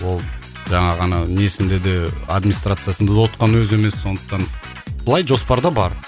ол жаңағы ана несінде де админстрациясында отқан өзі емес сондықтан былай жоспарда бар